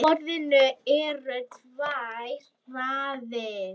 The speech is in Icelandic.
Á borðinu eru tvær raðir.